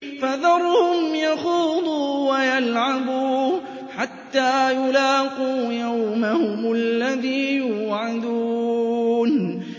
فَذَرْهُمْ يَخُوضُوا وَيَلْعَبُوا حَتَّىٰ يُلَاقُوا يَوْمَهُمُ الَّذِي يُوعَدُونَ